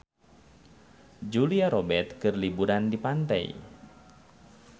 Julia Robert keur liburan di pantai